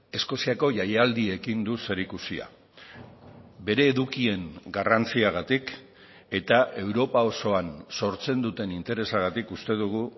eskoziako jaialdiekin du zerikusia bere edukien garrantziagatik eta europa osoan sortzen duten interesagatik uste dugu